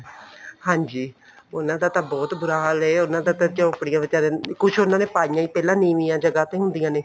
ਹਾਂਜੀ ਉਹਨਾ ਦਾ ਤਾਂ ਬਹੁਤ ਬੁਰਾ ਹਾਲ ਹੈ ਝੋਪੜੀਆਂ ਵਿਚਾਰੇ ਦੀਆਂ ਕੁੱਝ ਉਹਨਾ ਨੇ ਪਾਈਆਂ ਹੀ ਪਹਿਲਾਂ ਨੀਵੀਆਂ ਜਗ੍ਹਾ ਤੇ ਹੁੰਦੀਆਂ ਨੇ